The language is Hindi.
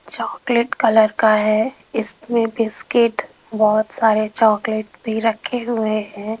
चॉकलेट कलर का है इसमें बिस्किट बहुत सारे चॉकलेट भी रखे हुए हैं।